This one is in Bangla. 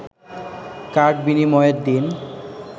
কার্ড বিনিময়ের দিন